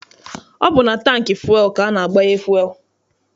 Ọ bụ na tankị fụel ka a na-agbanye fụel.